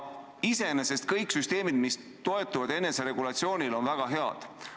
Iseenesest on kõik süsteemid, mis toetuvad eneseregulatsioonile, väga head.